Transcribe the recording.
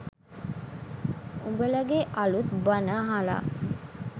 උඹලගේ අලුත් බණ අහලා